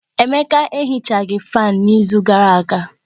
Emeka Ehichaghi fáan n'izu gara aga